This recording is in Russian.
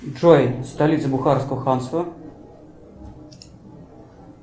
джой столица бухарского ханства